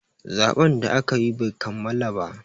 zaɓen da aka yi Bai kammala ba